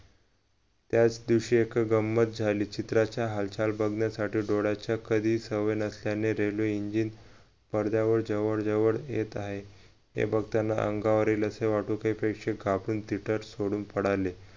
त्याच दिवशी एक गंमत झाली चित्राची हालचाल बघण्यासाठी डोळ्याच्या कधी सवय नसल्याने railwayengine पडद्यावर जवळ जवळ येत आहे हे बघताना अंगावर येईल असे वाटू त्यापेक्षा कापून तिथेच सोडून पळाले